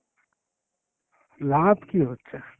লাভ কি হচ্ছে?